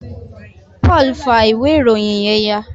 Paul fa ìwé ìròyìn yén ya